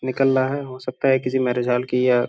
निकल रहा है हो सकता है कि जी मेरे ख्याल की या --